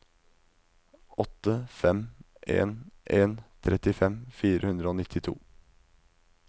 åtte fem en en trettifem fire hundre og nittito